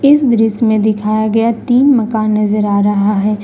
इस दृश्य मे दिखाया गया तीन मकान नजर आ रहा है।